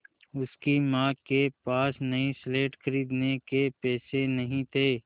उसकी माँ के पास नई स्लेट खरीदने के पैसे नहीं थे